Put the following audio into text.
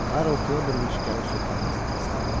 Karl Fyodoroviç gəlib söhbətimizi kəsdi.